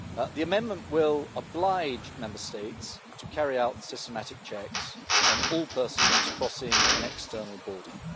The amendment will oblige Member States to carry out systematic checks on all persons crossing an external border.